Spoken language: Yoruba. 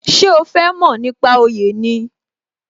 Ṣé o fẹ mo nípa oyè ni?